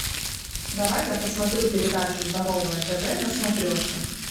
давай я посмотрю передачу здоровое тв на смотрешке